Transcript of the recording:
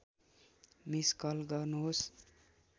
miss call गर्नुहोस्